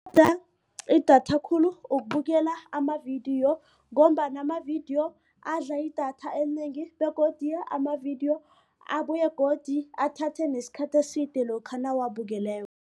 Idatha khulu ukubukela amavidiyo ngombana amavidiyo adla idatha elinengi begodu amavidiyo abuye godu athathe nesikhathi eside lokha nawuwabukeleko.